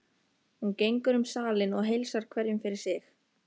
Hún gengur um salinn og heilsar hverjum fyrir sig.